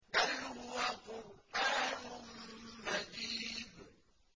بَلْ هُوَ قُرْآنٌ مَّجِيدٌ